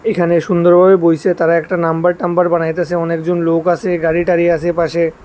এখানে সুন্দরভাবে বইসে তারা একটা নাম্বার টাম্বার বানাইতাসে অনেকজন লোক আছে গাড়ি টারি আছে পাশে।